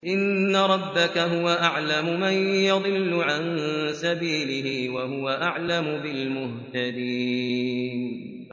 إِنَّ رَبَّكَ هُوَ أَعْلَمُ مَن يَضِلُّ عَن سَبِيلِهِ ۖ وَهُوَ أَعْلَمُ بِالْمُهْتَدِينَ